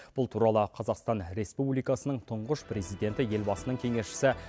бұл туралы қазақстан республикасының тұңғыш президенті елбасының кеңесшісі